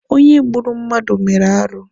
Onye gburu mmadụ mere arụ.